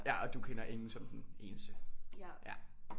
Ja og du kender ingen som den eneste